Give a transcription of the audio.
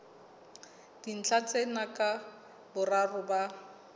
dintlha tsena ka boraro ba